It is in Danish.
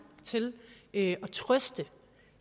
til at trøste